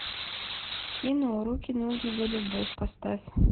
кино руки ноги за любовь поставь